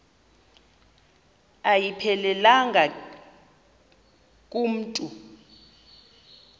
ayiphelelanga ku mntu